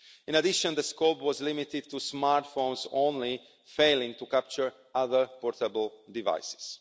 In addition, the scope was limited to smartphones only, failing to capture other portable devices.